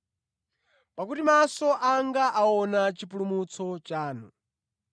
Pakuti maso anga aona chipulumutso chanu,